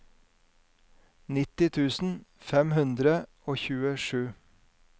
nitti tusen fem hundre og tjuesju